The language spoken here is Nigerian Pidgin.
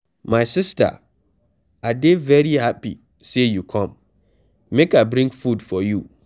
My sister I dey very happy say you come, make I bring food for you.